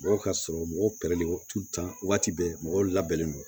Mɔgɔ ka sɔrɔ mɔgɔw kɛlɛli waati bɛ mɔgɔw labɛnnen don